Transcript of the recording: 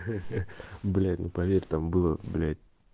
блять ну поверь там было блять